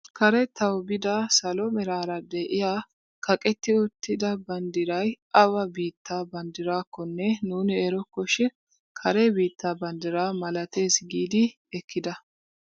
Karettawu biida salo meraara de'iyaa kaqetti uttida banddiray awa biittaa banddiraakonne nuuni erokko shin kare biittaa banddiraa malatees giidi ekkida!